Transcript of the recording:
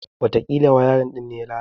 Watakila wayarin din ne ya lalace.